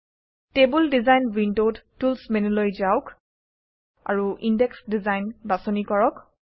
table design উইণ্ডত tools মেনুলৈ যাওক আৰু ইনডেক্স ডিজাইন বাছনি কৰক